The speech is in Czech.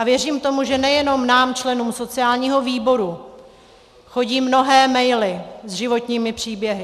A věřím tomu, že nejenom nám členům sociálního výboru chodí mnohé maily s životními příběhy.